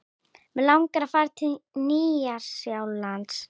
Mig langar að fara til Nýja-Sjálands.